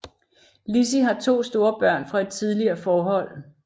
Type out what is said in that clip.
Lissi har to store børn fra et tidligere forhold